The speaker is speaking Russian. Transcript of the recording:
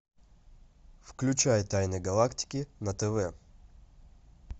включай тайны галактики на тв